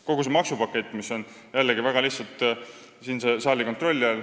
Kogu maksupakett on väga lihtsalt siinse saali kontrolli all.